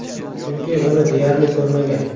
Chunki, uni deyarli ko‘rmagan.